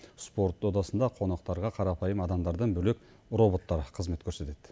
спорт додасында қонақтарға қарапайым адамдардан бөлек роботтар қызмет көрсетеді